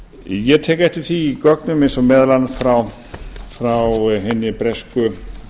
ég tek eftir því í gögnum eins og meðal annars frá hinni bresku